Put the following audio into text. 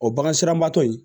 O bagan sera tɔ in